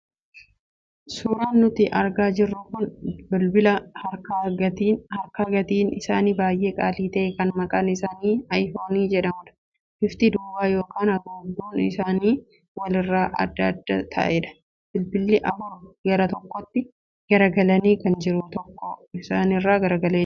Suuraan nuti argaa jirru kun bilbila harkaa gatiin isaanii baay'ee qaalii ta'e kan maqaan isaanii 'iphone' jedhamanidha. Bifti duubaa yookaan haguugduun isaanii walirra adda adda ta'edha. Bilbilli afur gara tokkotti garagalanii jiru, tokko garuu isaanirraa garagalee jira.